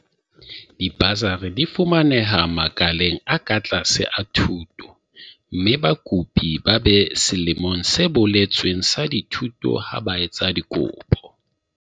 Dibasari di fumaneha makaleng a ka tlase a thuto mme bakopi ba be selemong se boletsweng sa dithuto ha ba etsa dikopo.